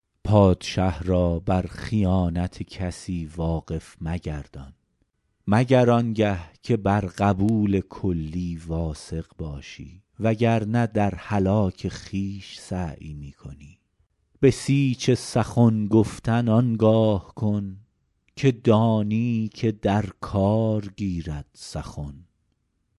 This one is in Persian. پادشه را بر خیانت کسی واقف مگردان مگر آنگه که بر قبول کلی واثق باشی و گر نه در هلاک خویش سعی می کنی بسیج سخن گفتن آنگاه کن که دانی که در کار گیرد سخن